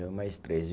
Eu mais três.